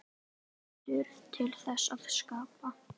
Heldur til þess að skapa.